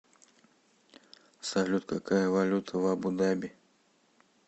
салют какая валюта в абу даби